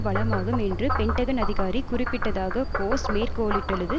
வளமாகும் என்று பென்டகன் அதிகாரி குறிப்பிட்டதாக போஸ்ட் மேற்கோளிட்டுள்ளது